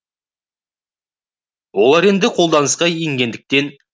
олар енді қолданысқа енгендіктен